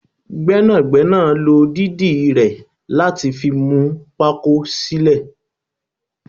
Gbẹ́nàgbẹ́nà ló dídì rẹ láti fi mú pako sílè